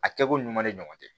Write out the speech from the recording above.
A kɛko ɲuman de ɲɔgɔn tɛ